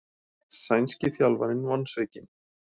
Sænski þjálfarinn vonsvikinn